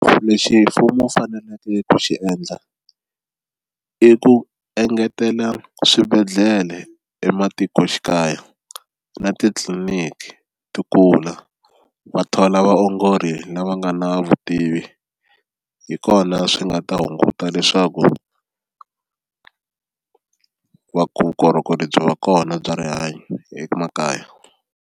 Lexi mfumo wu faneleke ku xi endla i ku engetela swibedhlele ematikoxikaya na titliliniki ti kula wa tona lava vaongori lava nga na vutivi hi kona swi nga ta hunguta leswaku vukorhokeri byi va kona bya rihanyo emakaya.